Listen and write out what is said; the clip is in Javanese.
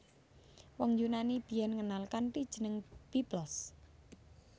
Wong Yunani biyen ngenal kanthi jeneng Byblos